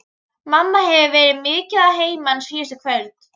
Mamma hefur verið mikið að heiman síðustu kvöld.